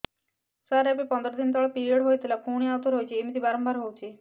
ସାର ଏବେ ପନ୍ଦର ଦିନ ତଳେ ପିରିଅଡ଼ ହୋଇଥିଲା ପୁଣି ଆଉଥରେ ହୋଇଛି ଏମିତି ବାରମ୍ବାର ହଉଛି